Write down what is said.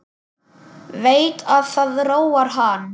Veit að það róar hann.